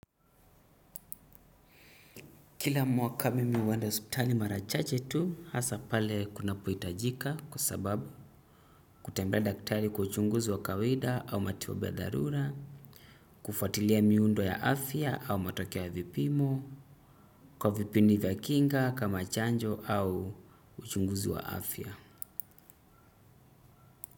Kila mwaka mimi huenda hospitali mara chache tu hasa pale kuna pohitajika kwa sababu kutembelea daktari kwa uchunguzi wa kawaida au matibabu ya dharura, kufatilia miundo ya afya au matokeo ya vipimo kwa vipindi vya kinga kama chanjo au uchunguzi wa afya.